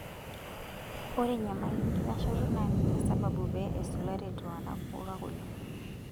Ore enyamali enkitashoto naa ninye sababu pee esulari iltungana moruak oleng'.